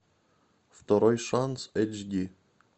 второй шанс эйч ди